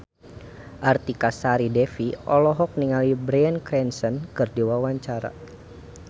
Artika Sari Devi olohok ningali Bryan Cranston keur diwawancara